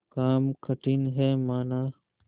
काम कठिन हैमाना